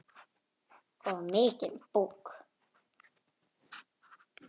Og mikinn búk.